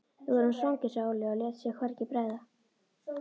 Við vorum svangir, sagði Óli og lét sér hvergi bregða.